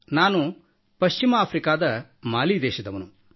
ನಾನು ಪಶ್ಚಿಮ ಆಫ್ರಿಕಾದ ಮಾಲಿ ದೇಶದವನು